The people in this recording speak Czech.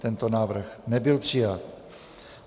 Tento návrh nebyl přijat.